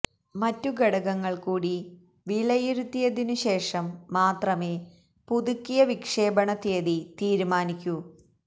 മറ്റു ഘടകങ്ങൾകൂടി വിലയിരുത്തിയതിനു ശേഷം മാത്രമേ പുതുക്കിയ വിക്ഷേപണ തീയതി തീരുമാനിക്കൂ